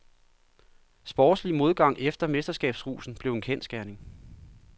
Sportslig modgang efter mesterskabsrusen blev en kendsgerning.